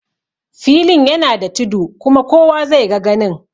Filin yana da tudu kuma kowa zai ga ganin